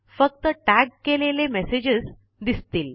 फक्त टॅग केलेले मेसेजस दिसतील